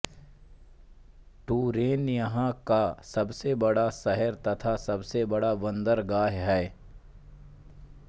Touraine यहाँ का सबसे बड़ा शहर तथा सबसे बड़ा बंदरगाह है